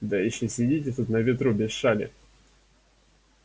да ещё сидите тут на ветру без шали